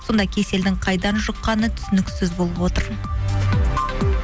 сонда кеселдің қайдан жұққаны түсініксіз болып отыр